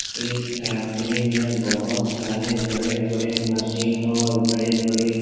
इस फैक्ट्री मे बहुत सारे बड़े-बड़े मशीन और बड़े-बड़े --